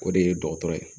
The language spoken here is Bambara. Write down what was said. O de ye dɔgɔtɔrɔ ye